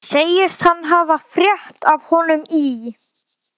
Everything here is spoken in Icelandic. Segist hann hafa frétt af honum í